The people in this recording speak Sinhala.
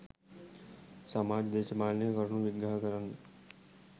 සමාජ දේශපාලනික කරුණු විග්‍රහ කරන්න